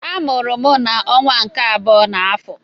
Amụrụ m n'ọnwa nke abụọ n'afọ.